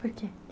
Por quê?